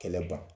Kɛlɛ ban